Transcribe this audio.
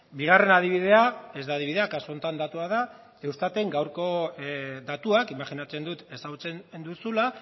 bigarren adibidea ez da adibidea kasu honetan datua da eustaten gaurko datuak imajinatzen dut ezagutzen duzula